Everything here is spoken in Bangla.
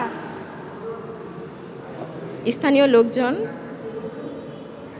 স্থানীয় লোকজন